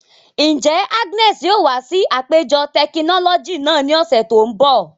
Njẹ Agnes yoo wa si apejọ tekinọlọji naa ni ọsẹ to nbọ?